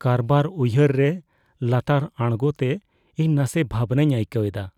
ᱠᱟᱨᱵᱟᱨ ᱩᱭᱦᱟᱹᱨ ᱨᱮ ᱞᱟᱛᱟᱨ ᱟᱬᱜᱳ ᱛᱮ ᱤᱧ ᱱᱟᱥᱮ ᱵᱷᱟᱵᱽᱱᱟᱧ ᱟᱹᱭᱠᱟᱹᱣ ᱮᱫᱟ ᱾